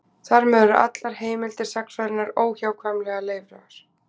Þar með eru allar heimildir sagnfræðinnar óhjákvæmilega leifar.